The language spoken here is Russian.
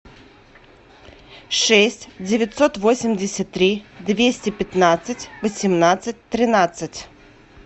шесть девятьсот восемьдесят три двести пятнадцать восемнадцать тринадцать